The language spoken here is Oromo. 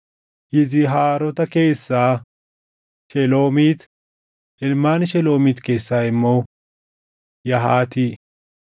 Yizihaarota keessaa: Sheloomiit; ilmaan Sheloomiit keessaa immoo: Yahaati.